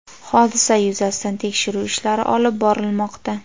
Hodisa yuzasidan tekshiruv ishlari olib borilmoqda.